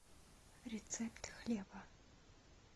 рецепт хлеба